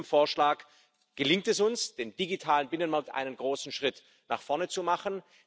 Mit diesem Vorschlag gelingt es uns, im digitalen Binnenmarkt einen großen Schritt nach vorne zu machen.